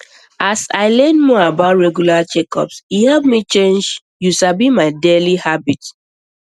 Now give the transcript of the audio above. as i learn more about regular checkups e help me change you sabi my daily habits